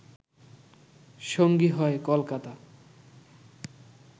সঙ্গী হয় কলকাতা